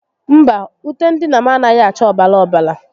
Mba, ute ndina m anaghi acha obara obara